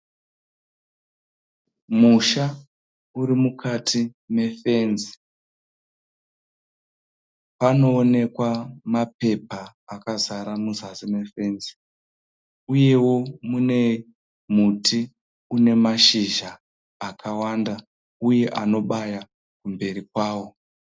Musha uri mukati mefenzi. Panoonekwa mapepa akazara muzasi mefenzi uyewo muti une mashizha akawanda uyewo anobaya kumberi kwawo.